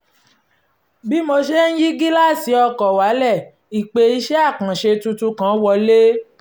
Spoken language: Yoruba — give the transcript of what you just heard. bí mo ṣe ń yí gíláàsì ọkọ̀ wálẹ̀ ìpè iṣẹ́ àkànṣe tuntun kan wọlé